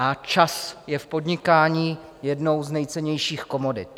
A čas je v podnikání jednou z nejcennějších komodit.